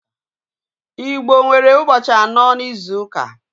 Igbo nwere ụbọchị anọ n'izuka.